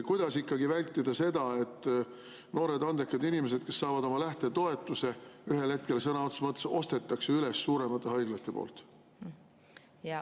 Kuidas ikkagi vältida seda, et noored andekad inimesed, kes saavad oma lähtetoetuse, ühel hetkel sõna otseses mõttes ostetakse üles suuremate haiglate poolt?